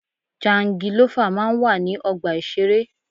Jangilọ́fà máa ń wà ní ọgbà ìṣeré.